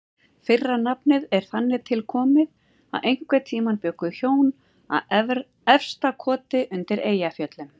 Fyrra nafnið er þannig tilkomið að einhvern tíma bjuggu hjón að Efstakoti undir Eyjafjöllum.